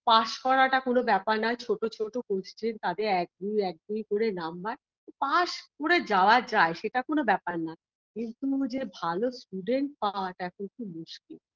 pass করাটা কোন ব্যাপার নয় ছোট ছোট question তাতে এক-দুই এক-দুই করে number pass করে যাওয়া যায় সেটা কোন ব্যাপার না কিন্তু যে ভালো student পাওয়াটা একটু মুশকিল